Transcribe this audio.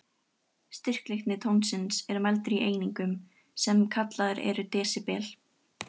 Styrkleiki tónsins er mældur í einingum, sem kallaðar eru desibel.